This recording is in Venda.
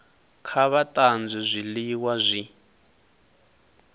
kha vha tanzwe zwiliwa zwi